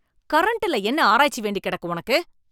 கரண்டுல என்ன ஆராய்ச்சி வேண்டி கெடக்கு உனக்கு.